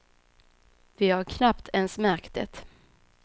Vi har ju knappt ens märkt det.